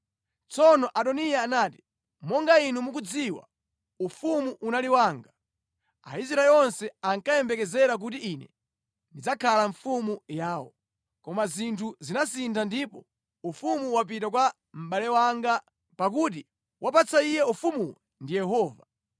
Tsono Adoniya anati, “Monga inu mukudziwa, ufumu unali wanga. Aisraeli onse ankayembekezera kuti ine ndidzakhala mfumu yawo. Koma zinthu zinasintha ndipo ufumu wapita kwa mʼbale wanga; pakuti wapatsa iye ufumuwu ndi Yehova.